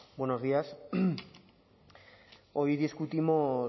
buenos días hoy discutimos